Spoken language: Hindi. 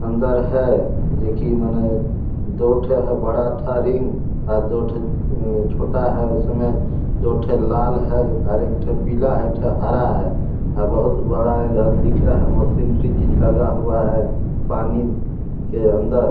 अंदर है दो ठो है बड़ा रिंग और दो ठो छोटा है उसमें दो ठो लाल है और एक ठो पीला है एकठो हरा है और बहुत बड़ा है यहाँ दिख रहा है मशीनरी चीज लगा हुआ है पानी के अंदर --